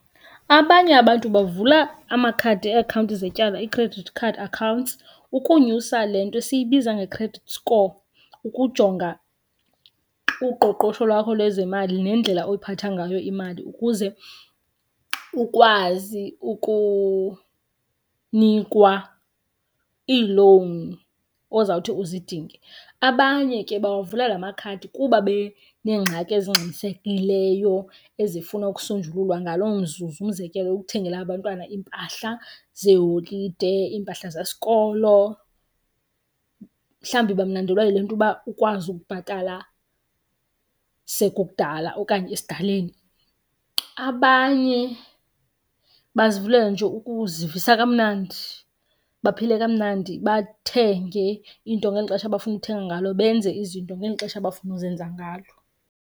Abanye abantu bavula amakhadi eakhawunti zetyala i-credit card accounts ukunyusa le nto siyibiza nge-credit score, ukujonga uqoqosho lwakho lwezemali nendlela oyiphatha ngayo imali ukuze ukwazi ukunikwa ii-loan ozawuthi uzidinge. Abanye ke bawavula la makhadi kuba beneengxaki ezingxamisekileyo ezifuna ukusonjululwa ngaloo mzuzu. Umzekelo, ukuthengela abantwana iimpahla zeeholide, iimpahla zesikolo, mhlawumbi bamnandelwa yile nto uba ukwazi ukubhatala sekukudala okanye esidaleni. Abanye bazivulela nje ukuzivisa kamnandi, baphile kamnandi bathenge into ngeli xesha abafuna ukuthenga ngalo, benze izinto ngeli xesha abafuna ukuzenza ngalo.